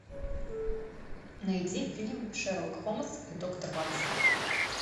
найди фильм шерлок холмс и доктор ватсон